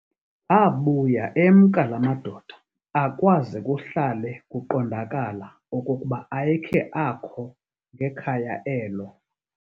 Abuya emka laa madoda, akwaze kuhlale kuqondakala okokuba ayekhe akho ngekhaya elo.